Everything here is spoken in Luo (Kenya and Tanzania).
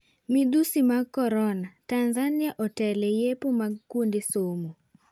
Midhusi mag Corona:Tanzania oteele yiepo mag kuonde somo.